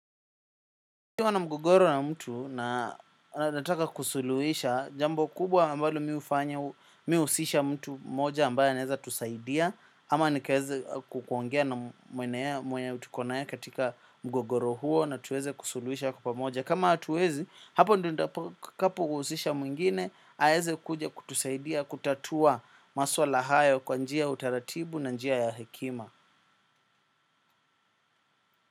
Nikiwa na mgogoro na mtu na anaeza taka kusuluhisha jambo kubwa ambalo mi huhusisha mtu mmoja ambaye anaeza tusaidia ama nikaeze kukuongea na mwenye tuko naye katika mgogoro huo na tuweze kusuluhisha kwa moja kama hatuwezi hapo ndo nitakapo kuhusisha mwengine aeze kuja kutusaidia kutatua maswala hayo kwa njia ya utaratibu na njia ya hekima.